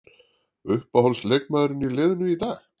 Uppáhalds leikmaður í liðinu í dag?